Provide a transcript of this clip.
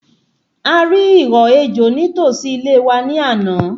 A rí ìhọ́ ejò ní tòsí ilé wa ní àná